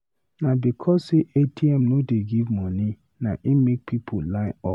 Na because sey ATM no dey give moni na im make pipu line up.